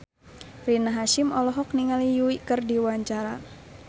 Rina Hasyim olohok ningali Yui keur diwawancara